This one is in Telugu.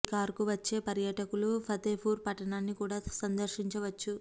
సికార్ కు వచ్చే పర్యాటకులు ఫతే పూర్ పట్టణాన్ని కూడా సందర్శించవచ్చు